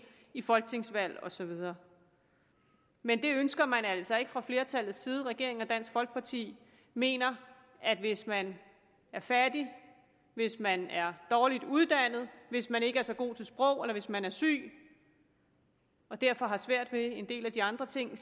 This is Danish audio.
i folketingsvalg og så videre men det ønsker man altså ikke fra flertallets side regeringen og dansk folkeparti mener at hvis man er fattig hvis man er dårligt uddannet hvis man ikke er så god til sprog eller hvis man er syg og derfor har svært ved en del af de andre ting